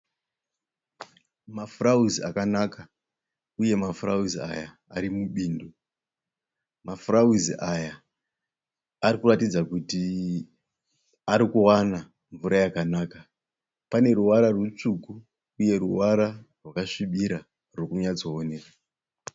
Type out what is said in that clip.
Mafurawuzi akanaka uye mafurawuzi aya ari mubindu. Mafurawuzi aya ari kutaridza kuti ari kuwana mvura yakanaka. Pane ruvara rutsvuku uye ruvara rwakasvibira ruri kunyatsooneka.